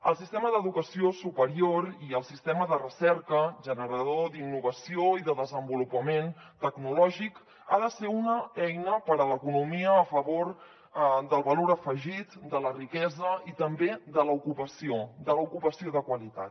el sistema d’educació superior i el sistema de recerca generador d’innovació i de desenvolupament tecnològic han de ser una eina per a l’economia a favor del valor afegit de la riquesa i també de l’ocupació de l’ocupació de qualitat